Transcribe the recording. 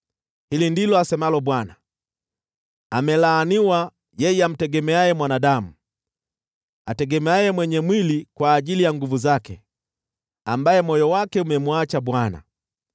Hili ndilo asemalo Bwana : “Amelaaniwa yeye amtegemeaye mwanadamu, ategemeaye mwenye mwili kwa ajili ya nguvu zake, ambaye moyo wake umemwacha Bwana .